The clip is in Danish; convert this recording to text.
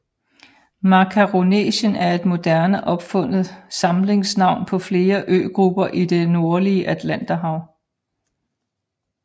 Makaronesien er et moderne opfundet samlingsnavn på flere øgrupper i det nordlige Atlanterhav